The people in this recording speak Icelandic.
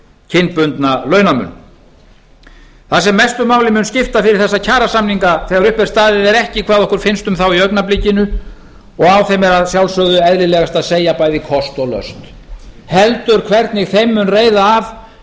kynbundna launamun það sem mestu máli mun skipta fyrir þessa kjarasamninga þegar upp er staðið er ekki hvað okkur finnst um þá í augnablikinu og á þeim er að sjálfsögðu eðlilegast að segja bæði kost og löst heldur hvernig þeim mun reiða af